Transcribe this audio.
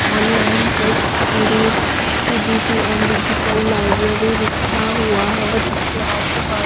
online test series CBT and digital library लिखा हुआ है और इसके आजू बा --